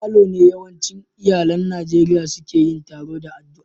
A falo ne yawancin iyallin Nijeriya seke yin taroa da addua.